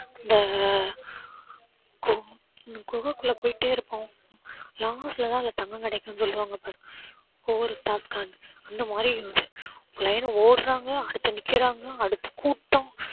இந்த கு~ குகைக்குள்ள போய்கிட்டே இருப்போம் last ல தான் அதுல தங்கம் கிடைக்கும் அப்படின்னு சொல்லுவாங்க பாரு. அந்த மாதிரி line ஆ ஓடுறாங்க அடுத்து நிக்குறாங்க அடுத்து கூட்டம்